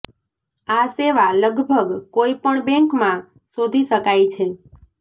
આ સેવા લગભગ કોઈ પણ બેંક માં શોધી શકાય છે